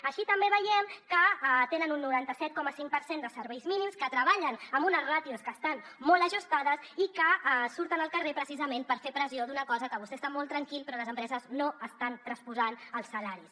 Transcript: així també veiem que tenen un noranta set coma cinc per cent de serveis mínims que treballen amb unes ràtios que estan molt ajustades i que surten al carrer precisament per fer pressió d’una cosa amb què vostè està molt tranquil però les empreses no estan transposant els salaris